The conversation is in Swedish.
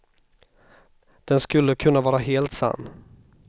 Den skulle kunna vara helt sann.